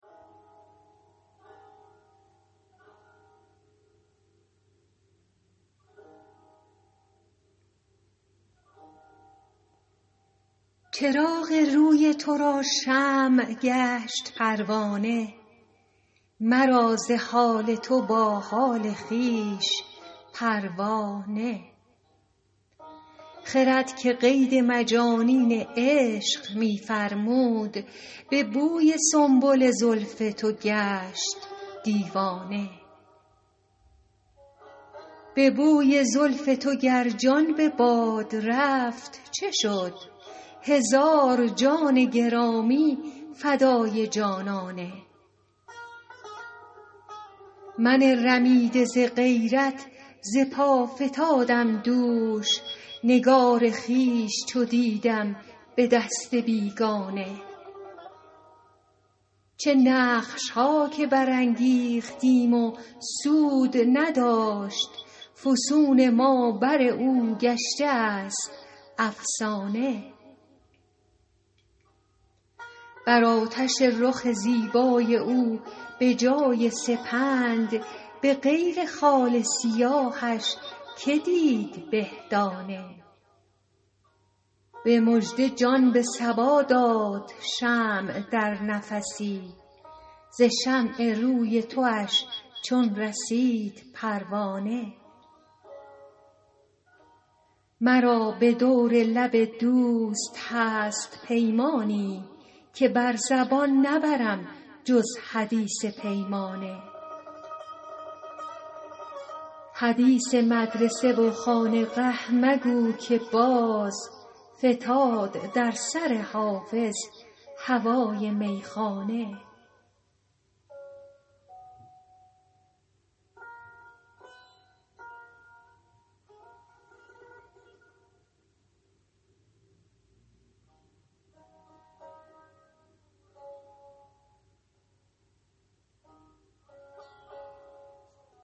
چراغ روی تو را شمع گشت پروانه مرا ز حال تو با حال خویش پروا نه خرد که قید مجانین عشق می فرمود به بوی سنبل زلف تو گشت دیوانه به بوی زلف تو گر جان به باد رفت چه شد هزار جان گرامی فدای جانانه من رمیده ز غیرت ز پا فتادم دوش نگار خویش چو دیدم به دست بیگانه چه نقش ها که برانگیختیم و سود نداشت فسون ما بر او گشته است افسانه بر آتش رخ زیبای او به جای سپند به غیر خال سیاهش که دید به دانه به مژده جان به صبا داد شمع در نفسی ز شمع روی تواش چون رسید پروانه مرا به دور لب دوست هست پیمانی که بر زبان نبرم جز حدیث پیمانه حدیث مدرسه و خانقه مگوی که باز فتاد در سر حافظ هوای میخانه